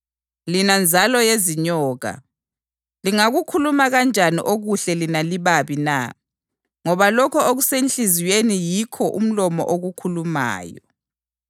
Lina nzalo yezinyoka, lingakukhuluma kanjani okuhle lina libabi na? Ngoba lokho okusenhliziyweni yikho umlomo okukhulumayo.